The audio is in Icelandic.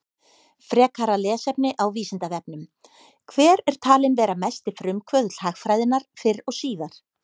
Frekara lesefni á Vísindavefnum: Hver er talinn vera mesti frumkvöðull hagfræðinnar fyrr og síðar?